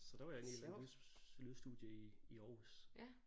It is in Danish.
Så der var jeg inde i et eller andet lyds lydstudie i i Aarhus